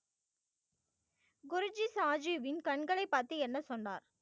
குருஜி சாஜீவின் கண்களை பார்த்து என்ன சொன்னார்